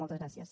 moltes gràcies